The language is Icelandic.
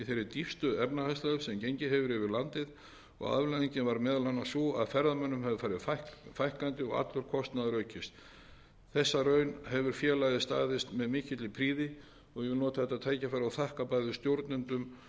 í þeirri dýpstu efnahagslægð sem gengið hefur yfir landið og afleiðingin varð meðal annars sú að ferðamönnum hefur farið fækkandi og allur kostnaður aukist þessa raun hefur félagið staðist með mikilli prýði og ég vil nota þetta tækifæri og þakka bæði stjórnendum